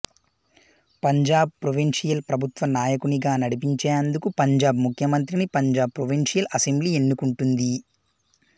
Punjab provincial ప్రభుత్వ నాయకునిగా నడిపించేందుకు పంజాబ్ ముఖ్యమంత్రిని పంజాబ్ ప్రొవిన్షియల్ అసెంబ్లీ ఎన్నుకుంటుంది